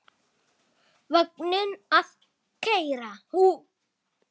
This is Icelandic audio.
Vagninn að keyra.